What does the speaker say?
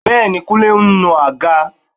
Bẹ́ẹ̀ni, Kúnlé ń nu àga